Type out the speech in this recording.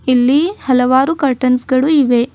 ಇಲ್ಲಿ ಹಲವಾರು ಕರ್ಟನ್ಸ್ ಗಳು ಇವೆ.